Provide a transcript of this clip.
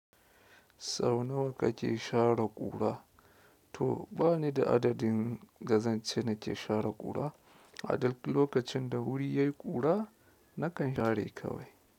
Sau nawa kake share ƙura? To bani da adadin ga zance nake share ƙura. A duk lokacin da wuri ya yi ƙura, nakan share kawai.